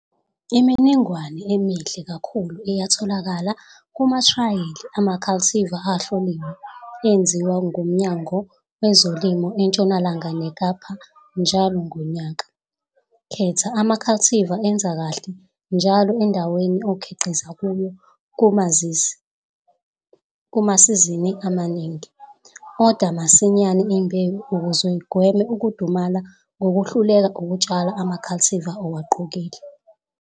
Imininingwane emihle kakhulu iyatholakala kumathrayeli ama-cultivar ahloliwe enziwa nguMnyango wezolimo eNtshonalanga neKapa njalo ngonyaka. Khetha ama-cultivar enze kahle njalo endaweni okhiqiza kuyo kumasizini amaningi. Oda masinyane imbewu ukuze ugweme ukudumala ngokwehluleka ukutshala ama-cultivar owaqokile.